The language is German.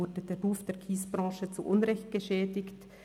Wurde der Ruf der Kiesbranche zu Unrecht geschädigt?